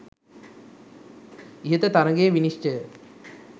ඉහත තරගයේ විනිශ්චය